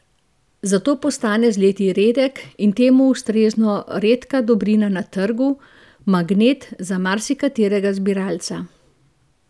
Zato postane z leti redek in temu ustrezno redka dobrina na trgu, magnet za marsikaterega zbiralca.